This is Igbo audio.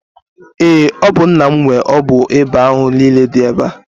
Ee ọ bụ nna mụ nwe ọgwụ iba ahụ nịịle dị ebea